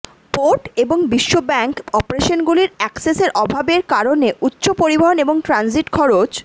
port এবং বিশ্বব্যাংক অপারেশনগুলির অ্যাক্সেসের অভাবের কারণে উচ্চ পরিবহন এবং ট্রানজিট খরচ